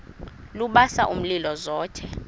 lubasa umlilo zothe